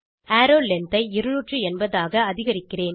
arrow length ஐ 280 ஆக அதிகரிக்கிறேன்